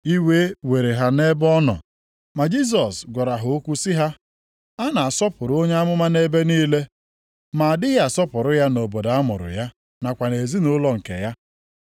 Iwe were ha nʼebe ọ nọ. Ma Jisọs gwara ha okwu sị ha, “A na-asọpụrụ onye amụma nʼebe niile, ma a dịghị asọpụrụ ya nʼobodo a mụrụ ya, nakwa nʼezinaụlọ nke ya.”